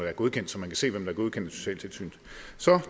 er godkendt så man kan se hvem der er godkendt af socialtilsynet så